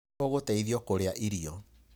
Nĩ ũgũteithio kurĩa irio.